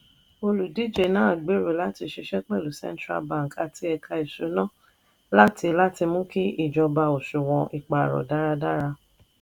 olùdíje náà gbèrò láti ṣiṣẹ́ pẹ̀lú central bank àti ẹ̀ka ìṣúná látiláti mú kí ìjọba òṣùwọ̀n ìpààrọ̀ dáradára.